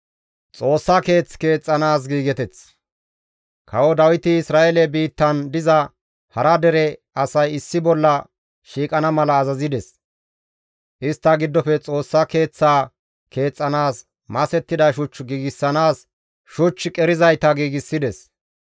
Kawo Dawiti Isra7eele biittan diza hara dere asay issi bolla shiiqana mala azazides; istta giddofe Xoossa Keeththaa keexxanaas masettida shuch giigsanaas shuch qerizayta giigsides.